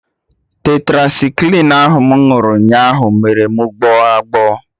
Tetracycline ahụ mụ ṅụrụ nyaa ahụ mere mụ gbọọ agbọ